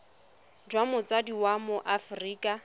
jwa motsadi wa mo aforika